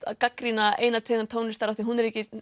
að gagnrýna eina tegund tónlistar af því hún er ekki